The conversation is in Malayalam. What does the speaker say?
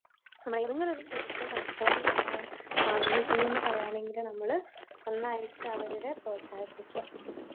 നമ്മുടെ ഏതെങ്കിലൊരു സുഹൃത്ത് കച്ചവടം തുടങ്ങാൻ ആഗ്രഹിക്കൂന്ന് പറയാണെങ്കിൽ നമ്മള് നന്നായിട്ട് അവരുടെ പ്രോത്സാഹിപ്പിക്ക.